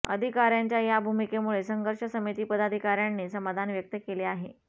अधिकाऱयांच्या या भूमिकेमुळे संघर्ष समिती पदाधिकाऱयांनी समाधान व्यक्त केले आहे